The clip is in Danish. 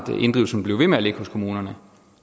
inddrivelsen blev ved med at ligge hos kommunerne